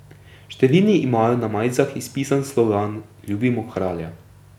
Številni imajo na majicah izpisan slogan Ljubimo kralja.